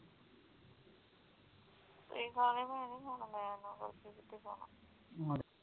ਤੁਹੀ ਖਾ ਲਿਓ ਮੈਂ ਨੀ ਹੁਣ ਮੈਂ ਉਥੇ ਕਿਥੇ ਖਾਣਾ